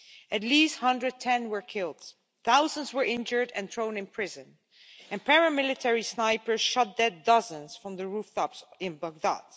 At least 110 were killed, thousands were injured and thrown in prison, and paramilitary snipers shot dead dozens from the rooftops in Baghdad.